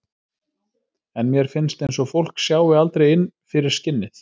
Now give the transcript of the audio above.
En mér finnst eins og fólk sjái aldrei inn fyrir skinnið.